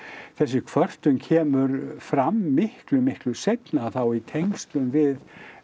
þessi kvörtun kemur fram miklu miklu seinna og þá í tengslum við